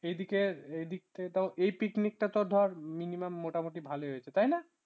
এদিকে এদিক থেকে তাও picnic তো ধর minimum মোটামুটি ভালো হয়েছে তাই না